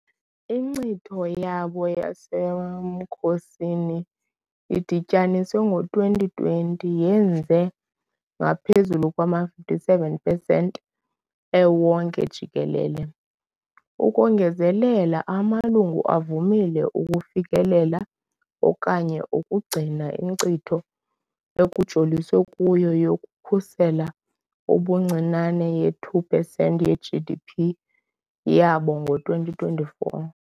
Inkcitho yabo yasemkhosini idityanisiwe ngo-2020 yenze ngaphezulu kwama-57 pesenti ewonke jikelele . Ukongezelela, amalungu avumile ukufikelela okanye ukugcina inkcitho ekujoliswe kuyo yokukhusela ubuncinane ye-2 pesenti ye -GDP yabo ngo-2024.